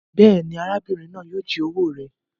Béèni, arábìrin náà yio ji owó rẹ